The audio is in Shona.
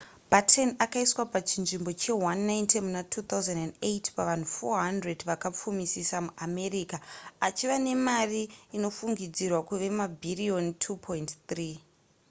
batten akaiswa pachinzvimbo che190 muna 2008 pavanhu 400 vakapfumisisa muamerica achiva nemari inofungidzirwa kuve mabhiriyoni $2.3